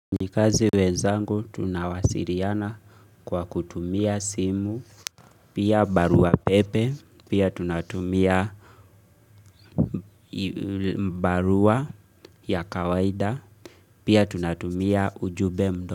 Nikazi wenzangu tunawasiliana kwa kutumia simu, pia barua pepe, pia tunatumia barua ya kawaida, pia tunatumia ujube mdo.